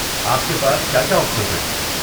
آپ کے پاس کیا کیا آپشنز ہیں؟